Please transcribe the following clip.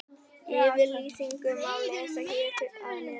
Yfirlýsinguna má lesa hér að neðan.